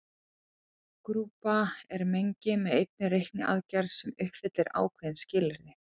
Grúpa er mengi með einni reikniaðgerð sem uppfyllir ákveðin skilyrði.